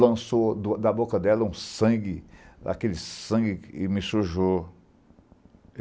Lançou da da boca dela um sangue, aquele sangue que me sujou.